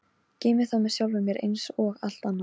Geymi það með sjálfri mér einsog allt annað.